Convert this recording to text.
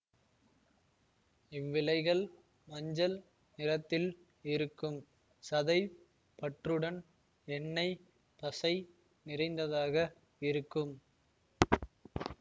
இவ்விலைகள் மஞ்சள் நிறத்தில் இருக்கும் சதை பற்றுடன் எண்ணெய் பசை நிறைந்ததாக இருக்கும்